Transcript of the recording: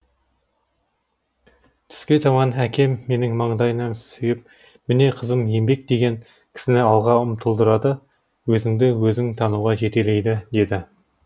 түске таман әкем менің маңдайымнан сүйіп міне қызым еңбек деген кісіні алға ұмтылдырады өзіңді өзің тануға жетелейді деді